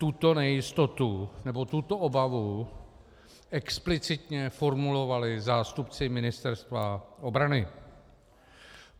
Tuto nejistotu, nebo tuto obavu explicitně formulovali zástupci Ministerstva obrany.